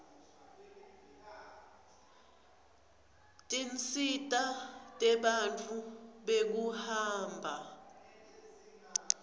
tinsita tebantfu bekuhamba